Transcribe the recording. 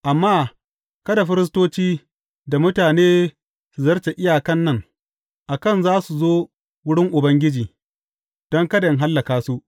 Amma kada firistoci da mutane su zarce iyakan nan, a kan za su zo wurin Ubangiji, don kada in hallaka su.